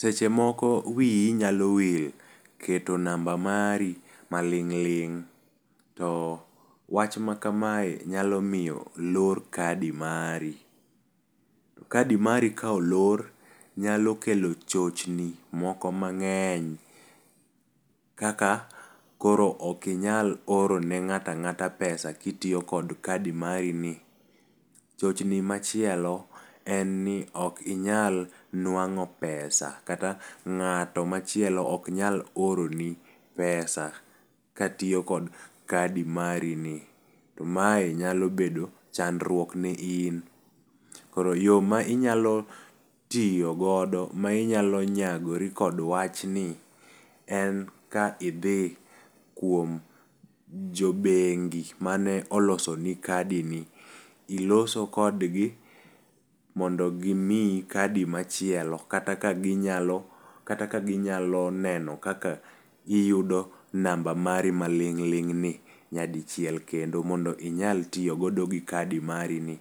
Seche moko wiyi nyalo wil keto namba mari maling'ling to wach ma kamae nyalo miyo olor kadi mari. To Kadi mar ka olor nyalo kelo chochni moko mang'eny kaka koro ok inyal oro ne ng'ata ng'ata pesa kitiyo kod kadi mari ni. Chochni machielo en ni ok inyal nwang'o pesa kata ng'at machielo ok nyal oro ni pesa katiyo kod kadi mari ni, to mae nyalo bedo chandruok ne in. Koro yoo ma inyalo tiyo godo ma inyalo nyagori kod wachni en ka idhi kuom jobengi mane oloso ni kadi ni, iloso kodgi mondo gimiyi kadi machielo kata ka ginyalo kata ka ginyalo neno kaka iyudo namba mari maling'ling ni nyadichiel kendo mondo inyal tiyo godo gi kadi mari ni